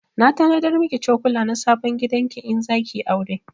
Na tanadar miki cokula na sabon gidan ki in zaki yi aure